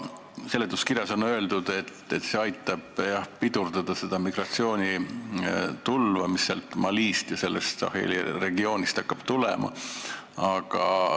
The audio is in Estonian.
Seletuskirjas on öeldud, et see missioon aitab pidurdada seda migratsioonitulva, mis Malist ja sealt Saheli regioonist tulema hakkab.